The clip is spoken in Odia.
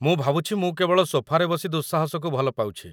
ମୁଁ ଭାବୁଛି ମୁଁ କେବଳ ସୋଫାରେ ବସି ଦୁଃସାହସକୁ ଭଲପାଉଛି!